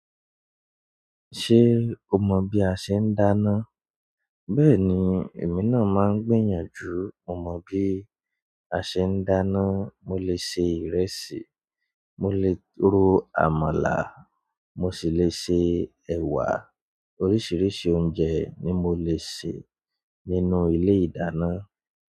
Ṣé o mọ bí a ṣe ń dáná? Bẹ́ẹ̀ni, èmi náà máa ń gbìyànjú. Mo mọ bí a ṣe ń dáná. Mo lè ṣe ìrẹsì, mo lè ro àmàlà, mo sì lè ṣe ẹ̀wà. Oríṣiríṣi oúnjẹ ni mo le ṣe nínú ile ìdáná.